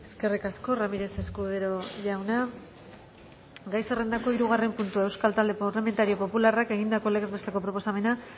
eskerrik asko ramírez escudero jauna gai zerrendako hirugarren puntua euskal talde parlamentario popularrak egindako legez besteko proposamena